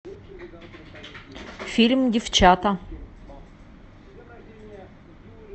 фильм девчата